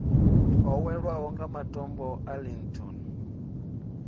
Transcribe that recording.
oweleaho wa matombo a linton